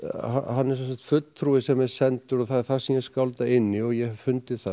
hann er sem sagt fulltrúi sem er sendur og það er það sem ég skálda inn í og ég hef fundið það